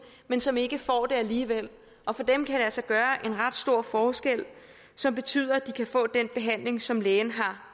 men som ikke får det alligevel og for dem kan det altså gøre en ret stor forskel som betyder at de kan få den behandling som lægen har